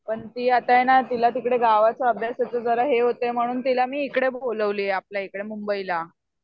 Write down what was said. पण ती ये ना तिला तिकडे गावाचं अभ्यासाचं हे होतंय म्हणून मी तिला इकडे बोलावलीयेआपल्या इकडे मुंबईला.